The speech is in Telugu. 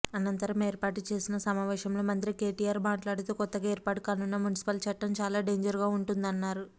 అనంతరం ఏర్పాటు చేసిన సమావేశంలో మంత్రి కేటీఆర్ మాట్లాడుతూ కొత్తగా ఏర్పాటు కానున్న మున్సిపల్ చట్టం చాలా డేంజర్గా ఉంటుందన్నారు